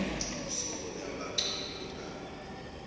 usubone abangcono kunami